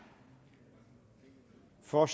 fyrre